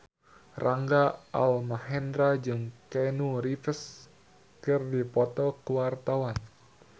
Rangga Almahendra jeung Keanu Reeves keur dipoto ku wartawan